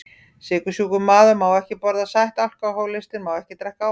Sykursjúkur maður má ekki borða sætt, alkohólistinn má ekki drekka áfengi.